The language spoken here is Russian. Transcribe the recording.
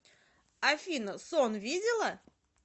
афина сон видела